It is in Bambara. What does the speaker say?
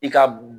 I ka